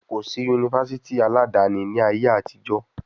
Kò sí yunifásítì aládàáni ní ayé àtijó.